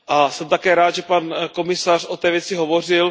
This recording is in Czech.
Jsem také rád, že pan komisař o té věci hovořil.